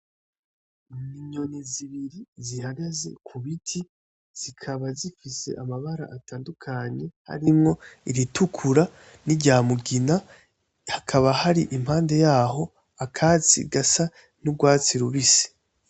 Inyoni zibiri zihagaze ku biti zikaba zifise amabara atandukanye arimwo iritukura nirya mugina, hakaba hari impande yaho akatsi gasa n'urwatsi rubisi.